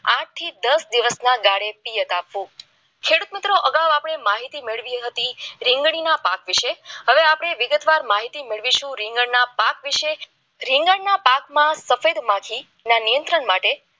આઠ થી દસ દિવસના ગાળામાં એશિયત આપવો ખેડૂત મિત્રો અગાઉ આપણે માહિતી મેળવી હતી રીંગણીના પાઠ વિશે હવે આપણે વિગતવાર માહિતી મેળવીશું એ રીંગણના પાઠ વિશે રીંગણના પાકમાં સફેદ માંથી નિયંત્રણ માટે